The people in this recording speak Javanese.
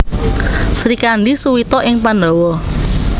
Srikandhi Suwita ing Pandhawa